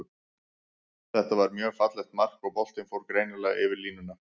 Þetta var mjög fallegt mark, og boltinn fór greinilega yfir línuna.